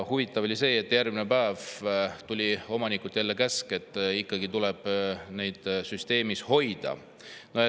Huvitav on see, et järgmisel päeval tuli omanikult käsk, et neid tuleb ikkagi süsteemis hoida.